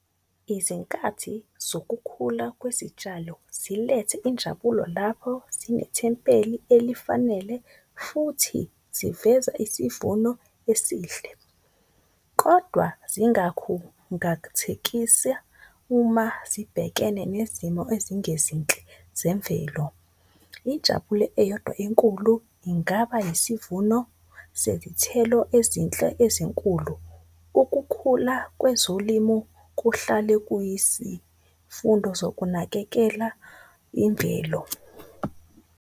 Izinkathi zokukhula kwezitshalo zilethe injabulo lapho zinethempeli elifanele futhi ziveza isivuno esihle. Kodwa uma zibhekene nezimo ezingezinhle zemvelo, injabulo eyodwa enkulu ingaba isivuno. Sezithelo ezinhle ezinkulu, ukukhula kwezolimo kuhlale kuyisifundo sokunakekela imvelo.